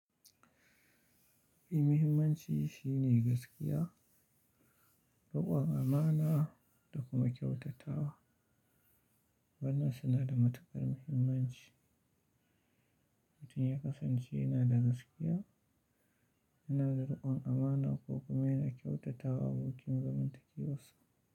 Muhimmanci shine gaskiya, riƙon amana da kuma kyautatawa. Wannan suna da matuƙar muhimmanci. Mutun ya kasance yana da gaskiya yana da rikon amana ko kuma Yana kyautatawa abokin zamantakewa sa.